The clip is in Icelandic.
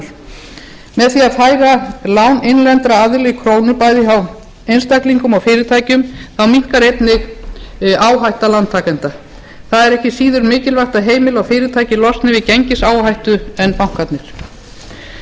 með því að færa lán innlendra aðila í krónum bæði hjá einstaklingum og fyrirtækjum minnkar einnig áhætta lántakenda það er ekki síður mikilvægt að heimili og fyrirtæki losni við gengisáhættu en bankarnir aukinn